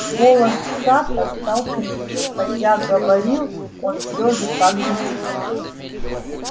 голос сатта стал хриплым хотя говорил он все же так же тихо